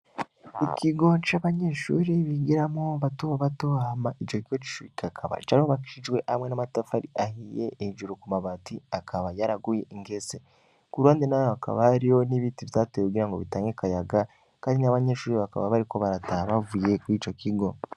Ikigo c'abanyeshuri bigiramwo, bato bato hama ico kigo c'ishuri kikaba carubakishijwe hamwe n'amatafari ahiye, hejuru ku mabati akaba yaraguye ingese. Ku ruhande naho hakaba hariho n'ibiti vyatewe kugira ngo bitange akayaga; kandi nya banyeshuri bakaba bariko barataha bavuye kuri ico kigo.